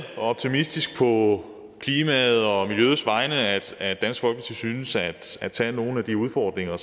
optimistisk på klimaet og miljøets vegne at at dansk folkeparti synes at at tage nogle af de udfordringer